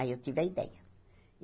Aí eu tive a ideia.